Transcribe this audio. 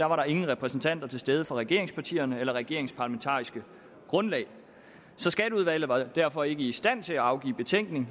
var der ingen repræsentanter til stede fra regeringspartierne eller regeringens parlamentariske grundlag så skatteudvalget var derfor ikke i stand til at afgive betænkning